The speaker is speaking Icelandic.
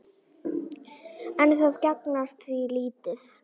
En það gagnast víst lítið.